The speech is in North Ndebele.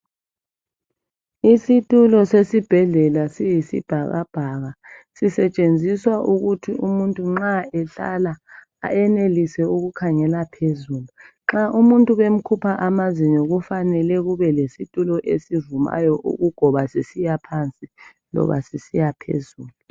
Isitulo sesibhedlela siyisibhakabhaka sisetshenziswa ukuthi umuntu nxa ehlala eyenelise ukukhangela phezulu nxa umuntu bemkhupha amazinyo kufanele kube lesitulo esivumayo ukugoba sisiya phansi loba sisiya phezulu.